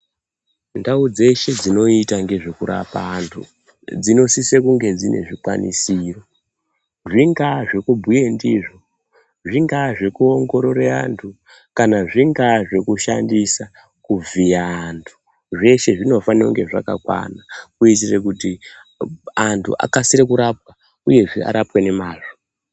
Ndau dzeshe dzinoita nezvekurapa andu zvinosise kunge zvine zvikwanisiro, zvingaa zvekubhuye ndizvo, zvingaa zvekuongorora andu kana zvingaa zvekushandisa kuvhiya andu zveshe zvinofanira kunge zvakakwana kuitira kuti andu akasire kurapwa uyezve arapwe nemazvo.